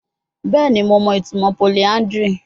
Bẹẹni Mo mọ itumọ polyandry